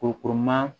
Kurukuruma